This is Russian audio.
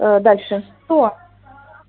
дальше что